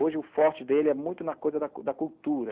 Hoje, o forte dele é muito na coisa da da cultura.